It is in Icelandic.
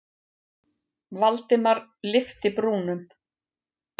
Valdimar lyfti brúnum.